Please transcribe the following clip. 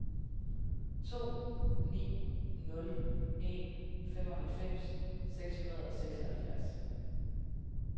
to ni nul en femoghalvfems seks hundrede og seksoghalvfjerds